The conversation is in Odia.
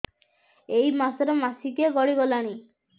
ଏଇ ମାସ ର ମାସିକିଆ ଗଡି ଗଲାଣି